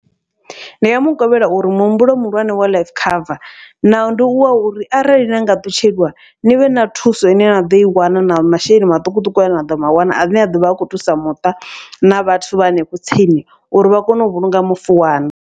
Ndi nga mukovhela uri muhumbulo muhulwane wa life cover, naho ndi wa uri arali na nga ṱutshelwa nivhe na thuso ine na ḓoi wana na masheleni maṱukuṱuku ane naḓo mawana, ane a ḓovha a khou thusa muṱa na vhathu vha hanefho tsini uri vha kone u vhulunga mufu waṋu.